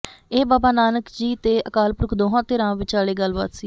ਇਹ ਬਾਬਾ ਨਾਨਕ ਜੀ ਤੇ ਅਕਾਲਪੁਰਖ ਦੋਹਾਂ ਧਿਰਾਂ ਵਿਚਾਲੇ ਗੱਲਬਾਤ ਸੀ